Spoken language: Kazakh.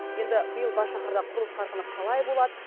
енді биыл бас шаһарда құрылыс қарқыны қалай болады